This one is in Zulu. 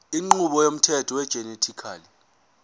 inqubo yomthetho wegenetically